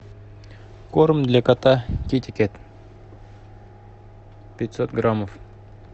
корм для кота китикет пятьсот граммов